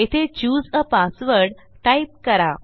येथे चूसे आ पासवर्ड टाईप करा